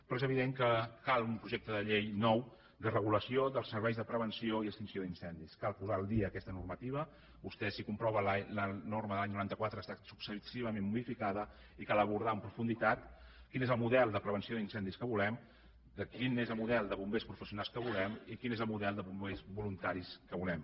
però és evident que cal un projecte de llei nou de regulació dels serveis de prevenció i extinció d’incendis cal posar al dia aquesta normativa vostè si comprova la norma de l’any noranta quatre ha estat successivament modificada i cal abordar en profunditat quin és el model de prevenció d’incendis que volem quin és el model de bombers professionals que volem i quin és el model de bombers voluntaris que volem